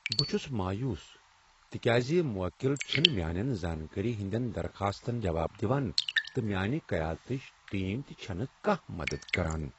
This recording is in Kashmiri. بہٕ چھس مایوس تکیاز موکِل چھنہٕ میانین زانٛکٲری ہندین درخاستن جواب دوان تہٕ میانہِ قیادتٕچ ٹیم تہ چھنہٕ کانٛہہ مدد کران۔